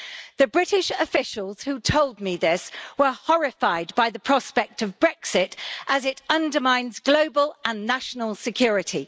The British officials who told me this were horrified by the prospect of Brexit, as it undermines global and national security.